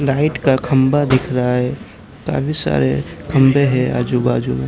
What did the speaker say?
Light का खंभा दिख रहा है काफी सारे खंभे है आजू बाजू में।